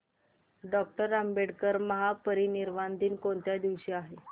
doctor Ambedkar महापरिनिर्वाण दिन कोणत्या दिवशी आहे